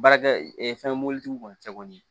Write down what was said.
Baarakɛ fɛn mobilitigiw kɔni cɛ kɔni